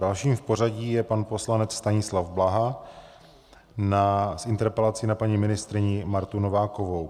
Dalším v pořadí je pan poslanec Stanislav Blaha s interpelací na paní ministryni Martu Novákovou.